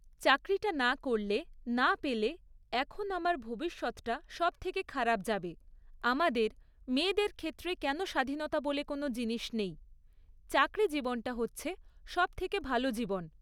চাকরিটা না করলে, না পেলে এখন আমার ভবিষ্যৎটা সব থেকে খারাপ যাবে, আমাদের, মেয়েদের ক্ষেত্রে কেন স্বাধীনতা বলে কোনো জিনিস নেই? চাকরি জীবনটা হচ্ছে সব থেকে ভালো জীবন!